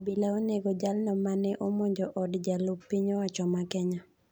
Obila onego jaal no mane omonjo od jalup piny owacho ma Kenya.